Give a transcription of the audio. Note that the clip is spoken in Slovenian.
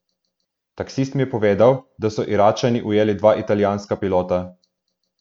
Taksist mi je povedal, da so Iračani ujeli dva italijanska pilota.